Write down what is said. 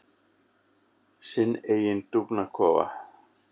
Sinn eiginn dúfnakofa.